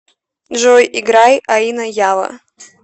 джой играй аино яво